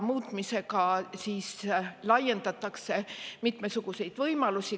Muutmisega laiendatakse mitmesuguseid võimalusi.